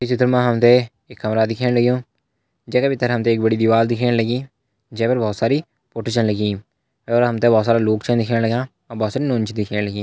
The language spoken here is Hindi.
ई चित्र मा हम तैं एक कमरा दिखेण लग्युं जै का भीतर हमें एक बड़ी दीवाल दिखेण लगीं जै पर बहोत सारी फोटो छन लगीं ये पर हम तैं बहोत सारा लोग छ दिखेण लग्यां और बहोत सारी नौनी छन दिखेण लगीं।